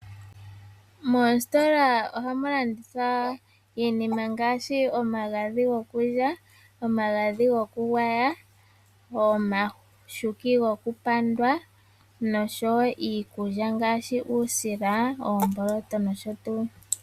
Moositola ohamu landithwa iinima ngashi ,omagadhi gwokulya , omagadhi gwokugwaya ,omashuki gwokupandwa noshowo iikulya ngaashi uusila ,omboloto nosho tu.